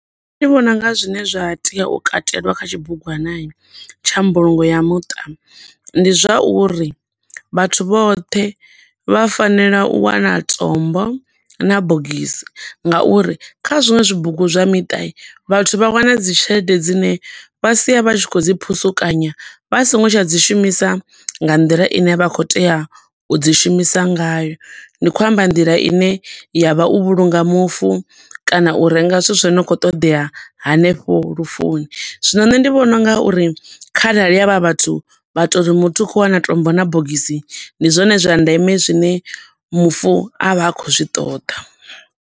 Nṋe ndi vhona unga zwine zwa tea u katelwa kha tshibugwana tsha mbulungo ya muṱa ndi zwa uri vhathu vhoṱhe vha fanela u wana tombo na bogisi nga uri kha zwo zwibugu zwa miṱa vhathu vha wane dzi tshelede dzine vha sia vha tshi khou dzi phusukanya vha songo tsha dzi shumisa nga nḓila ine vha khou tea u dzi shumisa ngayo. Ndi khou amba nḓila ine ya vha u vhulunga mufu, kana u renga zwithu zwine zwa khou ṱoḓea hanefho lufuni. Zwino nṋe ndi vhona unga uri kharali havha vhathu vha tori muthu u khou wana tombo na bogisi, ndi zwone zwa ndeme zwine mufu a vha a khou zwi ṱoḓa.